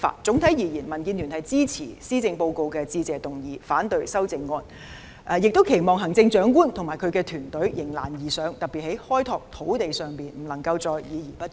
總括而言，民建聯支持施政報告的致謝議案，反對修正案，亦期望行政長官及其團隊迎難而上，特別在開拓土地方面，不能再議而不決。